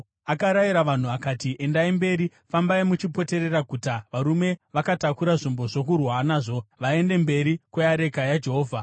Akarayira vanhu akati, “Endai mberi! Fambai muchipoterera guta, varume vakatakura zvombo zvokurwa nazvo vaende mberi kweareka yaJehovha.”